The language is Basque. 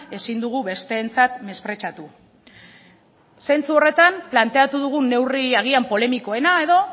ezin dugu besteentzat mesprezatu zentzu horretan planteatu dugun neurri agian polemikoena